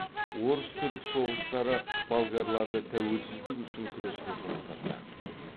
орыс түрік соғыстары болгарларды тәуелсіздік үшін күреске жұмылдырды